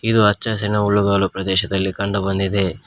ಇದು ಹಚ್ಚಹಸಿರಿನ ಹುಲ್ಲುಗಾವಲಿನಲ್ಲಿ ಕಂಡು ಬಂದಿದೆ.